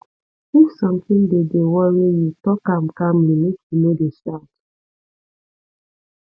if sometin dey dey worry you tok am calmly make you no dey shout